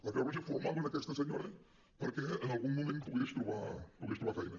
la creu roja formava aquesta senyora perquè en algun moment pogués trobar feina